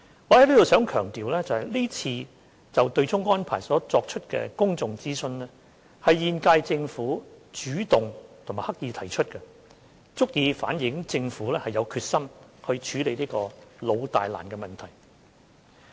我想強調，這次就對沖安排所作出的公眾諮詢，是現屆政府主動及刻意提出，足以反映政府是有決心處理這個老大難的問題。